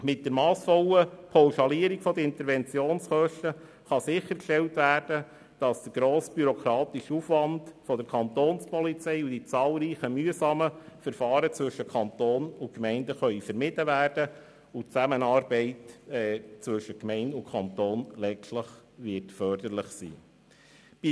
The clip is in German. Mit der massvollen Pauschalierung der Interventionskosten kann sichergestellt werden, dass der grosse bürokratische Aufwand der Kapo und die zahlreichen mühsamen Verfahren zwischen Kanton und Gemeinden vermieden werden können, was der Zusammenarbeit zwischen Gemeinden und Kanton letztlich förderlich sein wird.